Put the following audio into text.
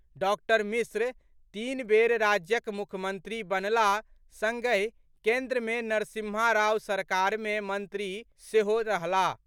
doctor Mishra तीन बेर राज्यक मुख्यमंत्री बनलाह सङ्गहि केन्द्रमे नरसिम्हा राव सरकारमे मंत्री सेहो रहलाह